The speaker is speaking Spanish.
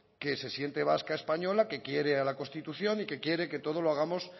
que se siente vasca española que quiere a la constitución y que quiere que todo lo hagamos